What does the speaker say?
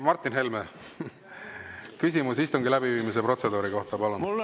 Martin Helme, küsimus istungi läbiviimise protseduuri kohta, palun!